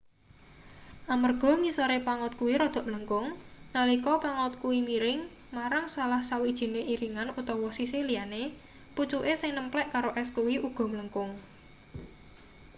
amarga ngisore pangot kuwi rada mlengkung nalika pangot kuwi miring marang salah sawijine iringan utawa sisih liyane pucuke sing nemplek karo es kuwi uga mlengkung